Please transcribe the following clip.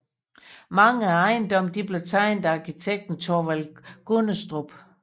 Mange af ejendommene blev tegnet af arkitekten Thorvald Gundestrup